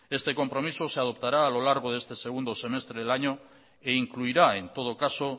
este compromiso se adoptará a lo largo de este segundo semestre del año e incluirá en todo caso